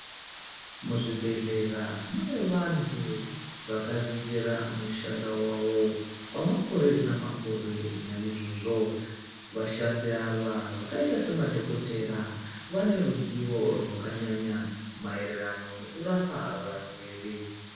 Muzvibhedhlera mune vantu vakadzidzira mushando wavo kwamakore namakore naizvozvo vashandi ava vakaita semadhokodheya vane ruzivo rwakanyanya mayererano nekurapa varwere .